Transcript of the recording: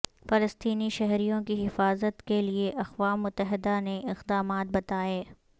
فلسطینی شہریوں کی حفاظت کے لئےاقوام متحدہ نے اقدامات بتائے